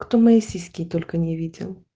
кто мои сиськи только не видел